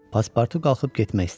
Paspartu qalxıb getmək istədi.